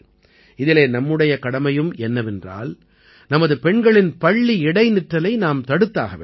இதிலே நம்முடைய கடமையும் என்னவென்றால் நமது பெண்களின் பள்ளி இடைநிற்றலை நாம் தடுத்தாக வேண்டும்